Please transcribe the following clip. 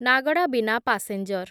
ନାଗଡ଼ା ବିନା ପାସେଞ୍ଜର